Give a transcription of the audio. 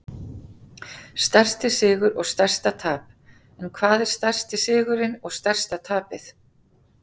Stærsti sigur og stærsta tap En hvað er stærsti sigurinn og stærsta tapið?